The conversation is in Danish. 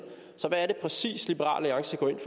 så hvad er det præcis liberal alliance går ind